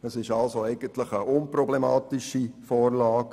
Es ist also eigentlich eine unproblematische Vorlage.